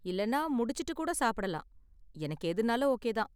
இல்லைன்னா முடிச்சுட்டு கூட சாப்பிடலாம், எனக்கு எதுனாலும் ஓகே தான்.